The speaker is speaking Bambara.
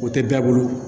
O tɛ bɛɛ bolo